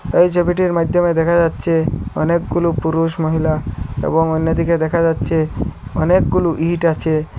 এই ছবিটির মাধ্যমে দেখা যাচ্ছে অনেকগুলো পুরুষ মহিলা এবং অন্যদিকে দেখা যাচ্ছে অনেকগুলো ইট আছে।